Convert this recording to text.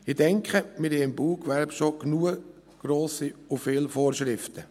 Ich denke, wir haben im Baugewerbe schon zahlreiche sowie grosse Vorschriften.